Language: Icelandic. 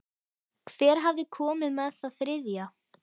Hver hafði komið með það þriðja?